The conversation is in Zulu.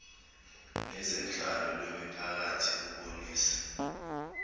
nezenhlalo lwemiphakathi lubonisa